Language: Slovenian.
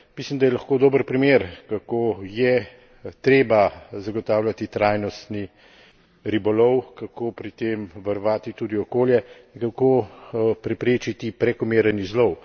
Mislim, da je lahko dober primer, kako je treba zagotavljati trajnostni ribolov, kako pri tem varovati tudi okolje in kako preprečiti prekomeren izlov.